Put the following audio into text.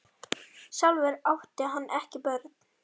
Sjálfur átti hann ekki börn.